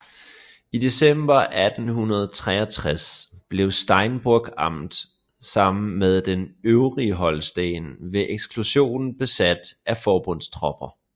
I december 1863 blev Steinburg amt sammen med det øvrige Holsten ved eksekution besat af forbundstropper